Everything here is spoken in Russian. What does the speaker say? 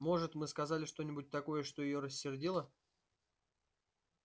может мы сказали что-нибудь такое что её рассердило